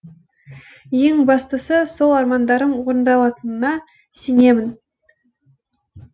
ең бастысы сол армандарым орындалатынына сенемін